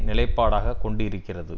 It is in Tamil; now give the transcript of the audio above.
நிலைப்பாடாகக் கொண்டிருக்கிறது